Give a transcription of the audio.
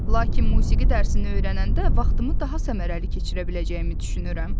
Lakin musiqi dərsini öyrənəndə vaxtımı daha səmərəli keçirə biləcəyimi düşünürəm.